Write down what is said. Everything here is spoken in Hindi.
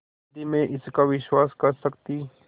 यदि मैं इसका विश्वास कर सकती